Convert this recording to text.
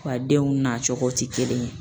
Wa denw nacogo ti kelen ye